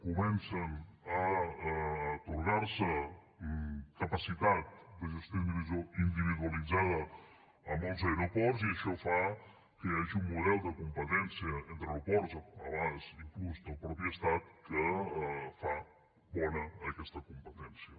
comença a atorgar se capacitat de gestió individualitzada a molts aeroports i això fa que hi hagi un model de competència entre aeroports a vegades inclús del mateix estat que fa bona aquesta competència